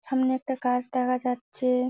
সামনে একটা গাছ দেখা যাচ্ছে এ।